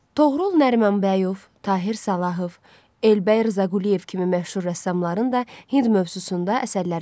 Toğrul Nərimanbəyov, Tahir Salahov, Elbəy Rzaquliyev kimi məşhur rəssamların da Hind mövzusunda əsərləri var.